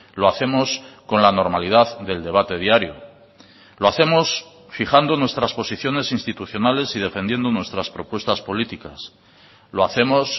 lo hacemos con la normalidad del debate diario lo hacemos fijando nuestras posiciones institucionales y defendiendo nuestras propuestas políticas lo hacemos